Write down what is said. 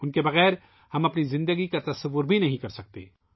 ہم ان کے بغیر اپنی زندگی کا تصور بھی نہیں کر سکتے